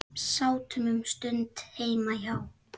Sátum um stund heima hjá